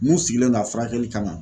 Mun sigilen don a furakɛli kama